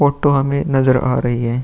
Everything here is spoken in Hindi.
फोटो हमें नजर आ रही है।